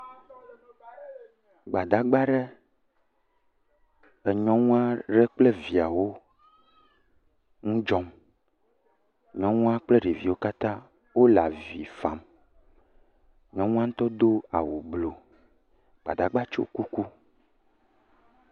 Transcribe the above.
Gbadagba aɖe enyɔnu aɖe kple via ŋu dzɔm. Nyɔnua kple ɖeviwo katã wole avi fam. Nyɔnua ŋutɔ do awu bluu. Gbadagba tsyɔ kuku.